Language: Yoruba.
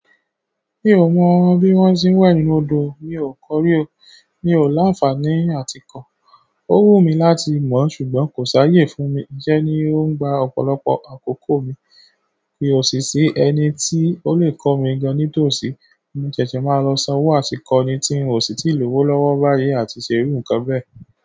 Mi o mo bí wọn se wé nínú ọdọ, mi o kọ rí o. Mi ò láǹfààní àtíkọ. Ó wù mí láti mọ̀, ṣùgbọ́n kò sá yé fún mi. Ǹjẹ́ ni ó ń gba ọ̀pọ̀lọpọ̀ àkókò mi. Mi ò sì sí ẹni tí ó le kọ́ mi gan-an nítòsí. Mo sẹ sẹ máa lọ san owo atí kọ́ ni tí n ò sì ti l'owó lọ́wọ́ báyìí àti ṣe irú nǹkan bẹ́ẹ̀.